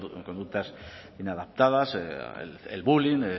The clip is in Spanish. conductas inadaptadas el bullying